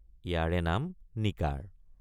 ইয়াৰে নাম নিকাৰ।